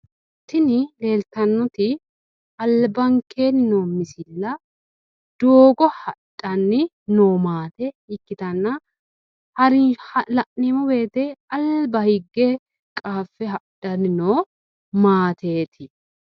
Tini leeltannoti albaankeenni noo misila Doogo haxxanni noo maate ikitanna La'neemowote alba huge qaafe haxxanni Noo maateet